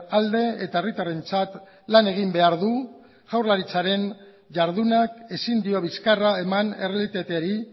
alde eta herritarrentzat lan egin behar du jaurlaritzaren jardunak ezin dio bizkarra eman errealitateari